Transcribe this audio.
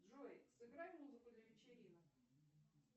джой сыграй музыку для вечеринок